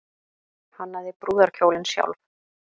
Hannaði brúðarkjólinn sjálf